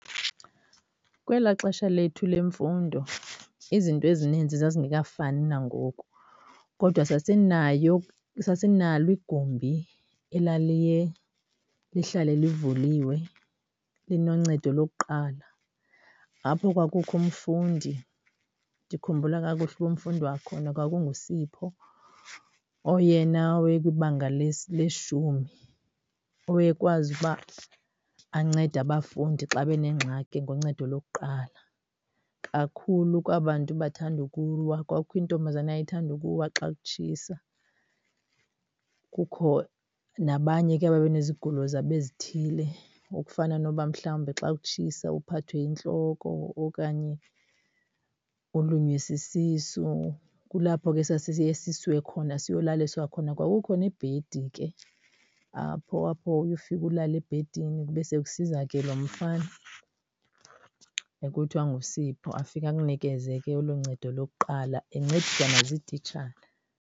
Kwelaa xesha lethu lemfundo izinto ezininzi zazingekafumani nangoku kodwa sasinayo, sasinalo igumbi elaliye lihlale livuliwe linoncedo lokuqala apho kwakukho umfundi. Ndikhumbula kakuhle uba umfundi wakhona kwakunguSipho oyena weye kwibanga leshumi, owaye kwazi ukuba ancede abafundi xa benengxaki ngoncedo lokuqala, kakhulu kwa 'bantu bathanda ukuwa. Kwakukho intombazana eyayithanda ukuwa xa kutshisa, kukho nabanye ke ababe nezigulo zabo ezithile ukufana noba mhlawumbi xa kutshisa uphathwe yintloko okanye ulunywe sisisu. Kulapho ke sasiye sisiwe khona, siyolaliswa khona. Kwakukho nebhedi ke apho, apho uye ufike ulale ebhedini kube sekusiza ke lo mfana ekuthiwa ngoSipho. Afike akunikeze ke olu ncedo lokuqala encediswa ziititshala.